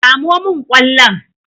Samo min kwallon!